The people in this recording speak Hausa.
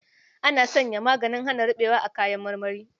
Ana sany maganin hana ruɓewa a kayan marmari.